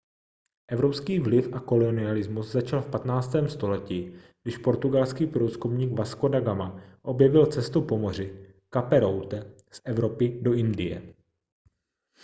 evropský vliv a kolonialismus začal v 15. století když portugalský průzkumník vasco da gama objevil cestu po moři cape route z evropy do indie